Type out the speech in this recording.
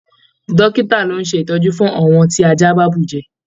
Dókítà ló n ṣe itọju fún àwọn tí ajá bá bujẹ́.